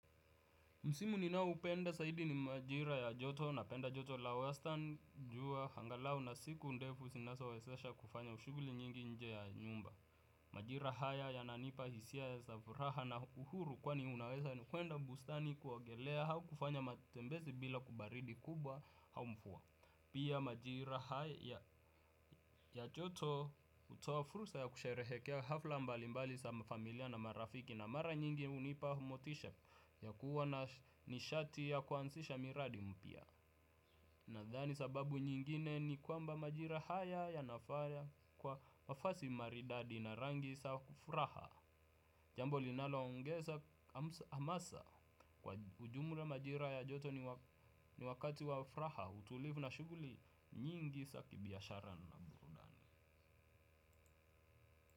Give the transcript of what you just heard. Msimu ninaoupenda zaidi ni majira ya joto napenda joto la wastani jua angalau na siku ndefu zinazowezesha kufanya shughuli nyingi nje ya nyumba. Majira haya yananipa hisia za furaha na uhuru kwani unaweza kwenda bustani kuogelea au kufanya matembezi bila baridi kubwa au mvua. Pia majira haya ya joto hutoa fursa ya kusherehekea hafla mbalimbali za mafamilia na marafiki na mara nyingi hunipa motisha ya kuwa na nishati ya kuanzisha miradi mpya. Nadhani sababu nyingine ni kwamba majira haya yanafaa kwa mavazi maridadi na rangi za furaha. Jambo linaloongeza hamasa kwa ujumla majira ya joto ni wakati wa furaha utulivu na shughuli nyingi za kibiashara na burudani.